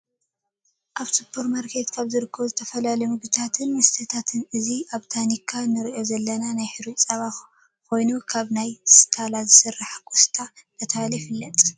ኣብ ስፖርማርኬት ካበ ዝርከቡ ዝተፈላለዩ ምግብታትን መስተታትን እዚ ኣብ ታኒካ እንሪኦ ዘለና ናይ ሕሩጭ ፀባ ኮይኑ ካብ ናይ ስታላ ዝተሰረሐ ኮስታ እንዳተባሃለ ይፍለጥ